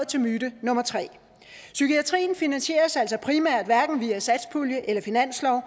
til myte nummer tre psykiatrien finansieres altså primært hverken via satspulje eller finanslov